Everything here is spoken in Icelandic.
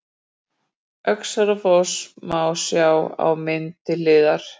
Öxarárfoss má sjá á mynd til hliðar.